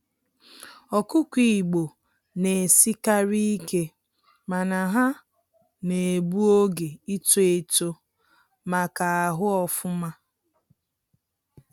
Ọkụkọ igbo na esikarị ike, mana ha na-egbu oge ịto eto ma ka ahụ ofụma.